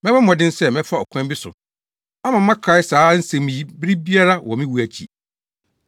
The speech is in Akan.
Mɛbɔ mmɔden sɛ mɛfa ɔkwan bi so ama moakae saa nsɛm yi bere biara wɔ me wu akyi.